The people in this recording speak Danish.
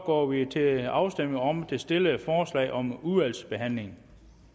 går vi til afstemning om det stillede forslag om udvalgsbehandling